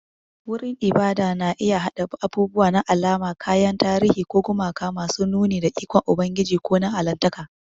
Wurin ibada na iya haɗa abubuwa na alama, kayan tarihi, ko gumaka masu nuni da ikon Ubangiji ko na Allahntaka.